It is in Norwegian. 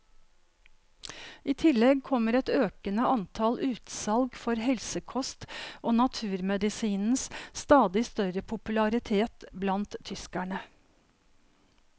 I tillegg kommer et økende antall utsalg for helsekost og naturmedisinens stadig større popularitet blant tyskerne.